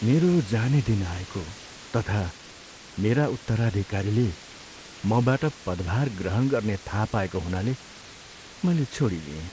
मेरो जाने दिन आएको तथा मेरा उत्तराधिकारीले मबाट पदभार ग्रहण गर्ने थाहा पाएको हुनाले मैले छोडिदिएँ।